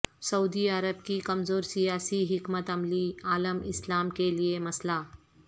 سعودی عرب کی کمزور سیاسی حکمت عملی عالم اسلام کے لئے مسئلہ